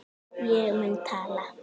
Ég mun tala.